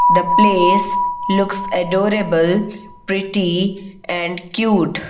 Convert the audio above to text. the place looks adorable pretty and cute.